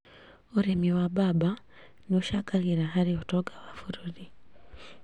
ũrĩmi wa mbamba nĩũcangagĩra harĩ ũtonga wa bũrũri